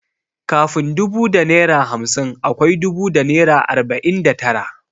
Kafin dubu da naira hamsin akwai dubu da naira arbanin da tara.